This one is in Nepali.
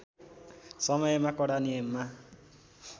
समयमा कडा नियममा